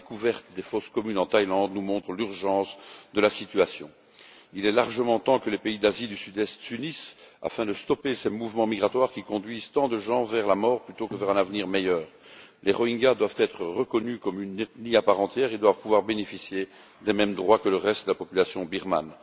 La découverte des fosses communes en Thaïlande nous montre l'urgence de la situation. Il est largement temps que les pays d'Asie du Sud Est s'unissent afin de stopper ces mouvements migratoires qui conduisent tant de gens vers la mort plutôt que vers un avenir meilleur. Les Rohingyas doivent être reconnus comme une ethnie à part entière et doivent pouvoir bénéficier des mêmes droits que le reste de la population birmane.